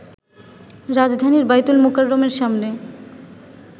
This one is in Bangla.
রাজধানীর বায়তুল মোকাররমের সামনে